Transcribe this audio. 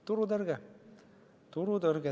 Üks sõna: turutõrge.